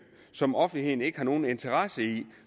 som offentligheden ikke har nogen interesse i